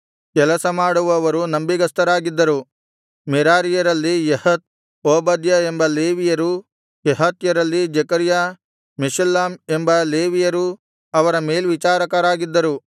ಕೆಲಸಮಾಡುವವರು ನಂಬಿಗಸ್ತರಾಗಿದ್ದರು ಮೆರಾರಿಯರಲ್ಲಿ Jahath Obadiah ಎಂಬ ಲೇವಿಯರೂ ಕೆಹಾತ್ಯರಲ್ಲಿ ಜೆಕರ್ಯ ಮೆಷುಲ್ಲಾಮ್ ಎಂಬ ಲೇವಿಯರೂ ಅವರ ಮೇಲ್ವಿಚಾರಕರಾಗಿದ್ದರು